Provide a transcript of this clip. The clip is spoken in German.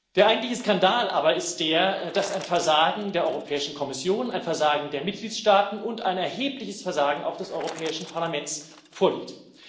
Der eigentliche Skandal aber ist der, dass ein Versagen der Europäischen Kommission, ein Versagen der Mitgliedstaaten und ein erhebliches Versagen auch des Europäischen Parlaments vorliegt.